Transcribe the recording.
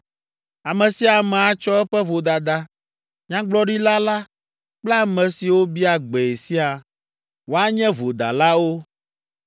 Ame sia ame atsɔ eƒe vodada, nyagblɔɖila la kple ame siwo bia gbee siaa, woanye vodalawo.